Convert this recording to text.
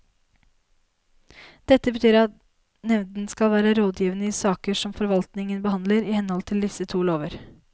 Dette betyr at nevnden skal være rådgivende i saker som forvaltningen behandler i henhold til disse to lover.